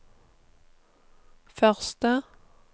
første